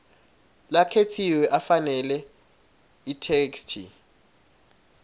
lakhetsiwe afanele itheksthi